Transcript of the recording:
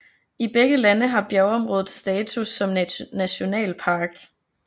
I begge lande har bjergområdet status som nationalpark